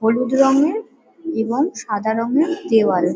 হলুদ রঙের এবং সাদা রঙের দেওয়াল।